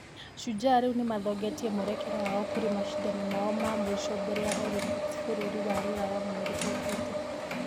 Shujaa rĩu nĩmathongĩtie mwerekera wao kũrĩ mashidano mao ma mũico mbere ya olympics bũrũri wa rũraya mweri ũkĩte.